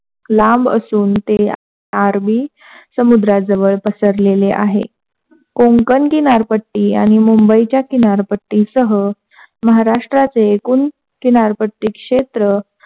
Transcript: लांब असून त्या अरबी समुद्र जवळ पसरलेली आहे. कोंकण किनारपट्टी आणि मुंबईच्या किनारपट्टी सह महाराष्ट्राचे एकूण किनारपट्टी क्षेत्र,